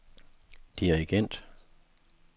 dirigent